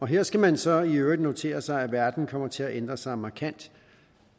her skal man så i øvrigt notere sig at verden kommer til at ændre sig markant